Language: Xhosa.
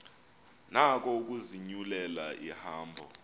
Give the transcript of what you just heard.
nako ukuzinyulela ihambo